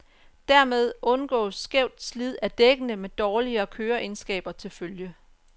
Dermed undgås skævt slid af dækkene med dårligere køreegenskaber til følge.